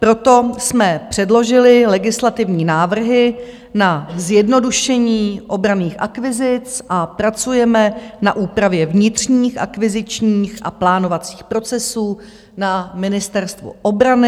Proto jsme předložili legislativní návrhy na zjednodušení obranných akvizic a pracujeme na úpravě vnitřních akvizičních a plánovacích procesů na Ministerstvu obrany.